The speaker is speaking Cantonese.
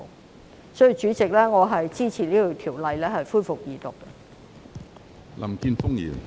有鑒於此，主席，我支持《條例草案》恢復二讀。